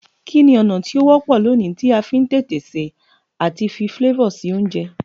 Kíni ọ̀nà ti o wọ́pọ̀ loní ti a fi n tètè se àti fi flavor si ounje